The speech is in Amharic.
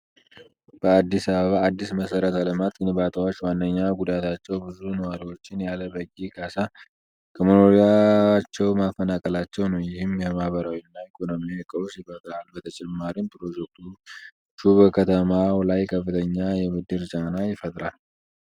በአዲስ አበባ አዳዲስ የመሰረተ ልማት ግንባታዎች ዋነኛ ጉዳታቸው ብዙ ነዋሪዎችን ያለ በቂ ካሳ ከመኖሪያቸው ማፈናቀላቸው ነው። ይህም የማህበራዊና ኢኮኖሚያዊ ቀውስ ይፈጥራል። በተጨማሪም፣ ፕሮጀክቶቹ በከተማው ላይ ከፍተኛ የብድር ጫና ይፈጥራል።